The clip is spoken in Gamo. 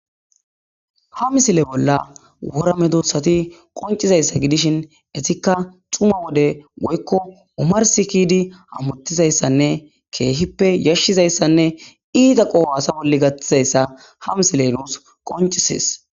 Ha misile bolla wora medosati qoncizaysa gidishin etika dhuma wode woyko omarsi kedi hamutizaysanne kehipe yashizaysanne ita qoha asa bolla ha misiley nus qoncises